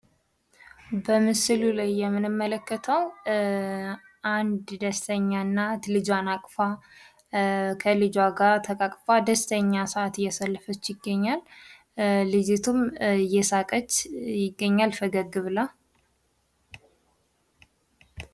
በምስሉ ላይ የምንመለከተው አንድ ደስተኛ እናት ልጁን አቅፋ እየሳመች ሲሆን፣ ልጁም በደስታ ፈገግ ብሎ ይታያል።